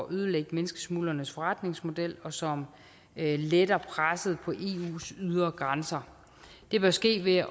ødelægge menneskesmuglernes forretningsmodel og som letter presset på eus ydre grænser det bør ske ved at